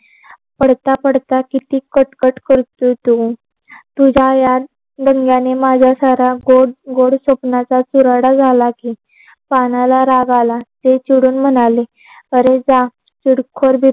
पडता पडता किती कट कट करतो तो. तूज्या या रडण्याने माझ्या सारा गोड गोड स्वप्नांचा चुराडा झाली की, पानाला राग आला ते चिडून म्हणाले अरे जा चिरखोड दिस